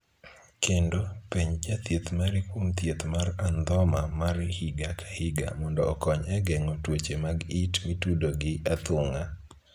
Kendo, penj jathieth mari kuom thieth mar andhoma mar higa ka higa mondo okony e geng'o tuoche mag it mitudo gi athung'a.